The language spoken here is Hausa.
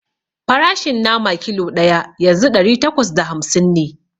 Farashin nama kilo ɗaya yanzu ɗari takwas da hamsin ne